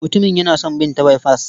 Mutumin yana son bin ta baifas.